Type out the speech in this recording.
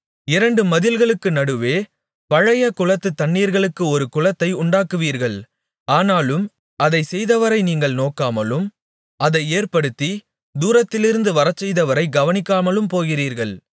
இரண்டு மதில்களுக்கு நடுவே பழைய குளத்துத் தண்ணீர்களுக்கு ஒரு குளத்தை உண்டாக்குவீர்கள் ஆனாலும் அதைச் செய்தவரை நீங்கள் நோக்காமலும் அதை ஏற்படுத்தித் தூரத்திலிருந்து வரச்செய்தவரைக் கவனிக்காமலும் போகிறீர்கள்